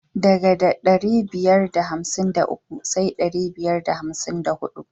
Ɗaga da ɗari biyar da hamsin da uku sai dari biyar da hamsin da huɗu.